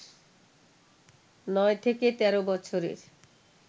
নয় থেকে তের বছরের